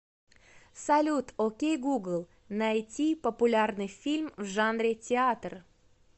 салют окей гугл найти популярный фильм в жанре театр